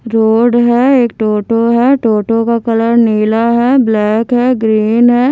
Road है एक टोटो है टोटो का कलर नीला है ब्लैक है ग्रीन है।